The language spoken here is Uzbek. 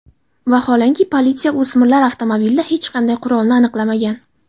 Vaholanki, politsiya o‘smirlar avtomobilida hech qanday qurolni aniqlamagan.